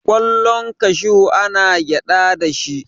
kwallon kashu ana gyada da shi